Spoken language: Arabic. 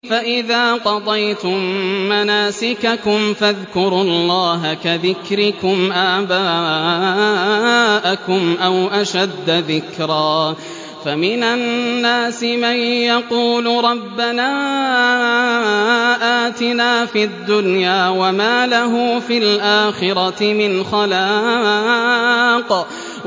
فَإِذَا قَضَيْتُم مَّنَاسِكَكُمْ فَاذْكُرُوا اللَّهَ كَذِكْرِكُمْ آبَاءَكُمْ أَوْ أَشَدَّ ذِكْرًا ۗ فَمِنَ النَّاسِ مَن يَقُولُ رَبَّنَا آتِنَا فِي الدُّنْيَا وَمَا لَهُ فِي الْآخِرَةِ مِنْ خَلَاقٍ